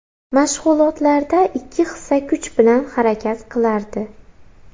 Mashg‘ulotlarda ikki hissa kuch bilan harakat qilardi.